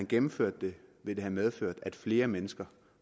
gennemført det ville have medført at flere mennesker